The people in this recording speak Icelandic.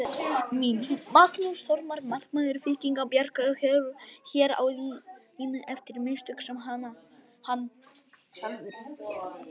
Mín: Magnús Þormar markmaður Víkinga bjargar hér á línu eftir mistök sem hann sjálfur gerði.